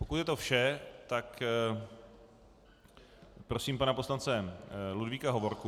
Pokud je to vše, tak prosím pana poslance Ludvíka Hovorku.